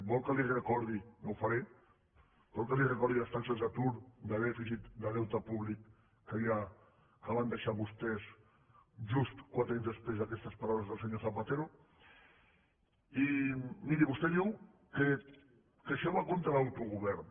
vol que li recordi no ho faré vol que li recordi les taxes d’atur de dèficit de deute públic que hi ha que van deixar vostès just quatre anys després d’aquestes paraules del senyor zapatero i miri vostè diu que això va contra l’autogovern